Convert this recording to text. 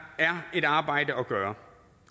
er et arbejde at gøre